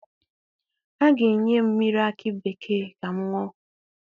A ga-enye m mmiri akị bekee ka m ṅụọ.